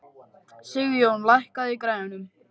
Sigjón, lækkaðu í græjunum.